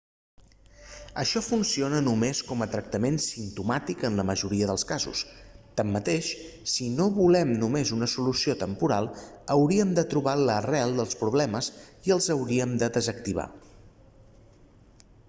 això funciona només com a tractment simptomàtic en la majoria dels casos tanmateix si no volem només una solució temporal hauríem de trobar l'arrel dels problemes i els hauríem de desactivar